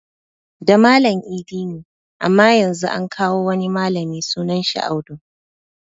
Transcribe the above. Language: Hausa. Da Malam idi ne amma Yanzu an kawo wani malami sunan shi Audu